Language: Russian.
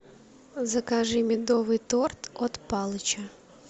закажи медовый торт от палыча